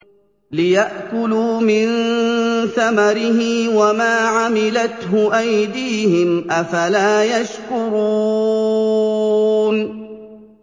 لِيَأْكُلُوا مِن ثَمَرِهِ وَمَا عَمِلَتْهُ أَيْدِيهِمْ ۖ أَفَلَا يَشْكُرُونَ